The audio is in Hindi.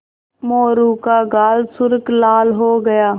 मोरू का गाल सुर्ख लाल हो गया